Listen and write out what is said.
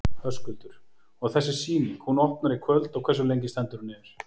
Höskuldur: Og þessi sýning, hún opnar í kvöld og hversu lengi stendur hún yfir?